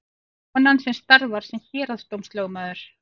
Konan starfar sem héraðsdómslögmaður